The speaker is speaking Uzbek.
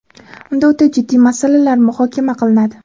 unda o‘ta jiddiy masalalar muhokama qilinadi.